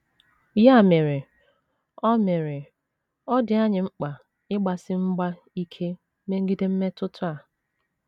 Ya mere, ọ mere, ọ dị anyị mkpa ịgbasi mgba ike megide mmetụta a.